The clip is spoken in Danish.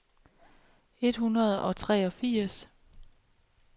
et hundrede og treogfirs